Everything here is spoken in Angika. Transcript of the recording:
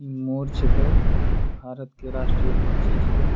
मोर छिके भारत के राष्ट्रीय पक्षी छिके।